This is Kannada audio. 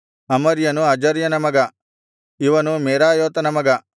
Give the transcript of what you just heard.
ಅಮರ್ಯನು ಅಜರ್ಯನ ಮಗ ಇವನು ಮೆರಾಯೋತನ ಮಗ